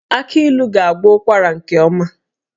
Aki ilu ga-agwọ ụkwara nke ọma